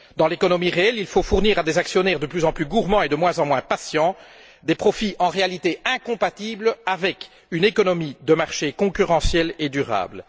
Dans l'économie réelle, il faut offrir à des actionnaires de plus en plus gourmands et de moins en moins patients des profits en réalité incompatibles avec une économie de marché concurrentielle et durable.